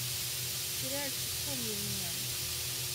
сериальчик помни меня